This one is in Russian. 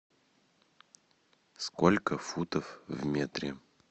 сколько футов в метре